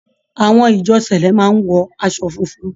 Àwọn ìjọ cẹ̀lẹ́ máa ń wọ aṣọ funfun.